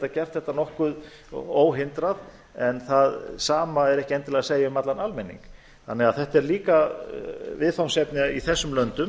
gert þetta nokkuð óhindrað en það sama er ekki endilega að segja um allan almenning þannig að þetta er líka viðfangsefni í þessum löndum